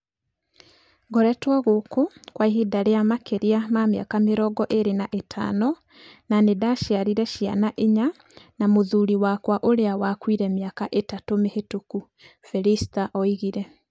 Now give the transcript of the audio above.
"Ngoretwo gũkũ kwa ihinda rĩa makĩria ma mĩaka mĩrongo ĩrĩ na ĩtano na nĩ ndaciarire ciana inya na mũthuri wakwa ũrĩa wakuire mĩaka ĩtatũ mĩhĩtũku, " Felister oigire.